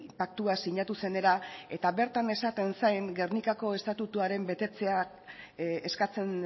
paktua sinatu zenera eta bertan esaten zen gernikako estatutuaren betetzea eskatzen